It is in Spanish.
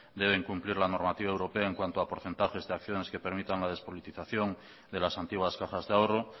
deben cumplir la normativa europea en cuanto a porcentajes de acciones que permitan la despolitización de las antiguas cajas de ahorro